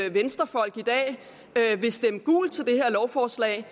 at venstrefolk i dag vil stemme gult til det her lovforslag